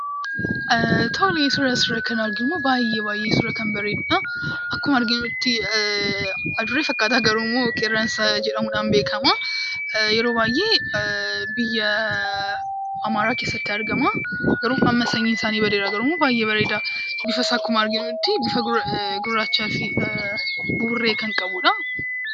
Suuraan asirratti arginu kan baay'ee kan bareedudha. Akkuma arginutti adurree fakkaata garuummoo qeerransa jedhamuudhaan beekama. Yeroo baay'ee biyya amaaraa keessatti argama. Garuummoo sanyiin isaanii badeera garuummoo baay'ee bareeda. Bifasaa akkuma argaa jirrutti bifa gurraachaa fi buburree kan qabudha.